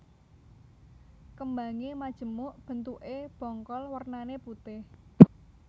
Kembange majemuk bentukke bongkol wernane putih